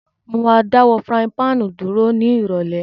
Mo ma dáwó pan-frying dúró ni ìrọ̀lẹ́